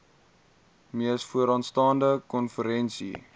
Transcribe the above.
mees vooraanstaande konferensie